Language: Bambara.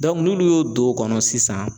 n'olu y'o don o kɔnɔ sisan